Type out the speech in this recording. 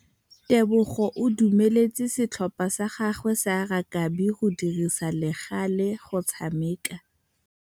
Tebogô o dumeletse setlhopha sa gagwe sa rakabi go dirisa le galê go tshameka.